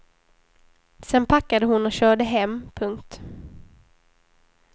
Sedan packade hon och körde hem. punkt